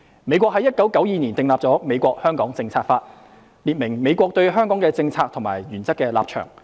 美國於1992年訂立了《美國―香港政策法》，列明美國對香港的政策和原則立場。